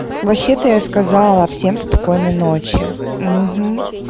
вообще-то я сказала всем спокойной ночи